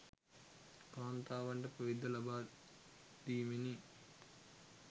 කාන්තාවන්ට පැවිද්ද ලබා දීමෙනි.